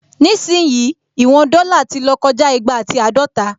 Nísìyìí, ìwọn dọ́là ti lọ́ kọjá igba àti àádọta